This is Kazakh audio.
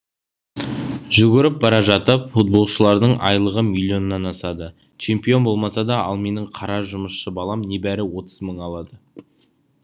жүгіріп бара жатып футболшылардың айлығы миллионнан асады чемпион болмаса да ал менің қара жұмысшы балам небәрі отыз мың алады